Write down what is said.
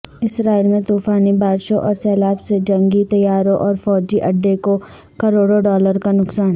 اسرائیل میں طوفانی بارشوں اورسیلاب سے جنگی طیاروں اور فوجی اڈے کو کروڑوں ڈالر کانقصان